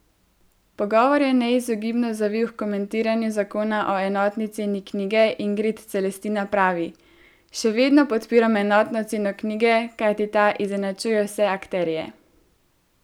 Pogovor je neizogibno zavil h komentiranju zakona o enotni ceni knjige, Ingrid Celestina pravi: "Še vedno podpiram enotno ceno knjige, kajti ta izenačuje vse akterje.